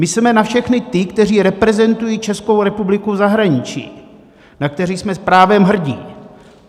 Mysleme na všechny ty, kteří reprezentují Českou republiku v zahraničí, na které jsme právem hrdi.